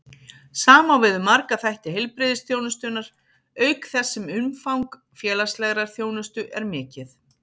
Sama á við um marga þætti heilbrigðisþjónustunnar, auk þess sem umfang félagslegrar þjónustu er mikið.